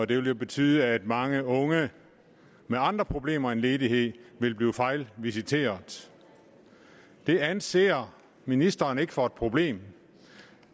det vil jo betyde at mange unge med andre problemer end ledighed vil blive fejlvisiteret det anser ministeren ikke for et problem